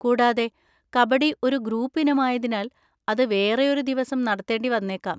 കൂടാതെ, കബഡി ഒരു ഗ്രൂപ്പ് ഇനമായതിനാൽ, അത് വേറെയൊരു ദിവസം നടത്തേണ്ടി വന്നേക്കാം.